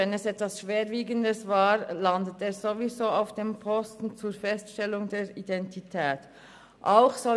Wenn es etwas Schwerwiegendes war, landet die Person zur Feststellung der Identität sowieso auf dem Polizeiposten.